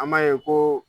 An b'a ye ko